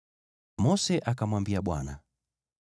Mose akamwambia Bwana ,